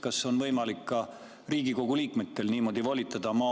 Kas on võimalik ka Riigikogu liikmetel niimoodi volitada?